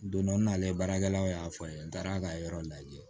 Don dɔ nalen baarakɛlaw y'a fɔ n ye n taara ka yɔrɔ lajɛ